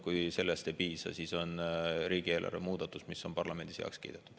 Kui sellest ei piisa, siis on riigieelarve muudatus, mis on parlamendis heaks kiidetud.